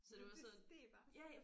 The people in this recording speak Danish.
Så det steg bare